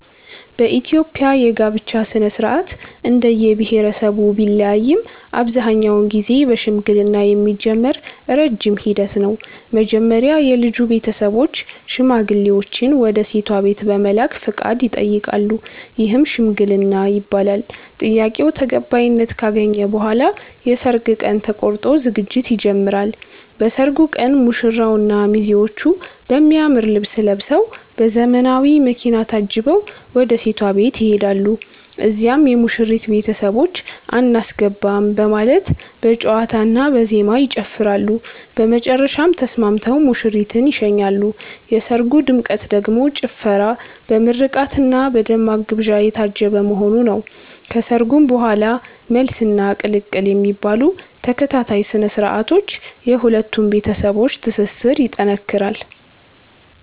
በኢትዮጵያ የጋብቻ ሥነ-ሥርዓት እንደየብሄረሰቡ ቢለያይም አብዛኛውን ጊዜ በሽምግልና የሚጀምር ረጅም ሂደት ነው። መጀመሪያ የልጁ ቤተሰቦች ሽማግሌዎችን ወደ ሴቷ ቤት በመላክ ፈቃድ ይጠይቃሉ፤ ይህም "ሽምግልና" ይባላል። ጥያቄው ተቀባይነት ካገኘ በኋላ የሰርግ ቀን ተቆርጦ ዝግጅት ይጀምራል። በሰርጉ ቀን ሙሽራውና ሚዜዎቹ በሚያምር ልብስ ለብሰዉ፤ በዘመናዊ መኪና ታጅበው ወደ ሴቷ ቤት ይሄዳሉ። እዚያም የሙሽሪት ቤተሰቦች "አናስገባም " በማለት በጨዋታና በዜማ ይጨፍራሉ፤ በመጨረሻም ተስማምተው ሙሽሪትን ይሸኛሉ። የሰርጉ ድምቀት ደግሞ ጭፈራ፣ በምርቃትና በደማቅ ግብዣ የታጀበ መሆኑ ነው። ከሰርጉ በኋላም "መልስ" እና "ቅልቅል" የሚባሉ ተከታታይ ስነ-ስርዓቶች የሁለቱን ቤተሰቦች ትስስር ይጠነክራል።